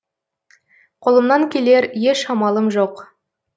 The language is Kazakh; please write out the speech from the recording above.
қолымнан келер еш амалым жоқ